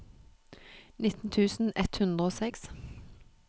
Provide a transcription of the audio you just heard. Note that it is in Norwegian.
nitten tusen ett hundre og seks